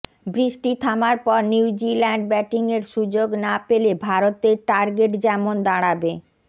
বৃষ্টি থামার পর নিউজিল্যান্ড ব্যাটিংয়ের সুযোগ না পেলে ভারতের টার্গেট যেমন দাঁড়াবে